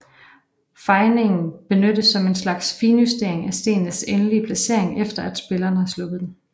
Fejningen benyttes som en slags finjustering af stenens endelige placering efter at spilleren har sluppet den